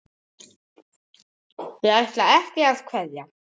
Þau ætla ekki að vekja